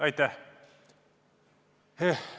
Aitäh!